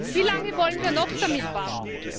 Wie lange wollen wir noch damit warten?